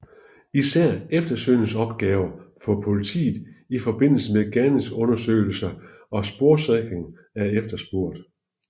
Især eftersøgningsopgaver for politiet ifm gerningsstedsundersøgelse og sporsikring er efterspurgt